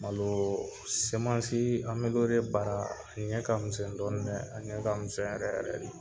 Malo bara ɲɛ ka misɛn dɔɔnin dɛ a ɲɛ ka misɛn yɛrɛ yɛrɛ de.